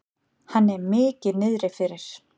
Henni er mikið niðri fyrir.